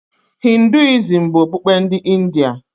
Hinduism bụ okpukpe ndị India.